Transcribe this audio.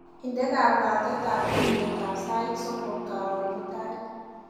Inde kabwatetab tuiyetab sait somok karon mutai.